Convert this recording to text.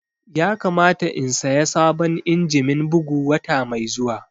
Ya kamata in saya sabon injimin bugu wata mai zuwa